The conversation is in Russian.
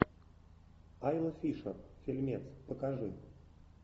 айла фишер фильмец покажи